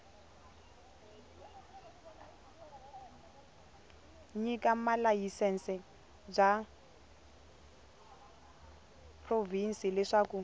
nyika malayisense bya provhinsi leswaku